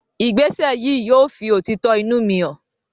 Ìgbésẹ̀ yìí yóò fi òtítọ́ inú mi hàn.